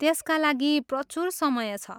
त्यसका लागि प्रचुर समय छ।